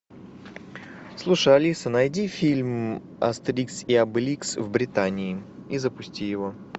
слушай алиса найди фильм астерикс и обеликс в британии и запусти его